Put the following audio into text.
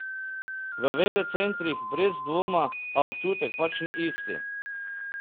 V velecentrih brez dvoma, a občutek pač ni isti.